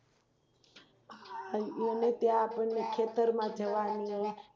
આપણને ખેતરમાં જવાની